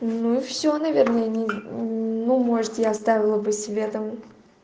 ну и все наверное не ну может я оставила бы себе там